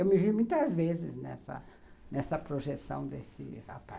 Eu me vi muitas vezes nessa nessa projeção desse rapaz.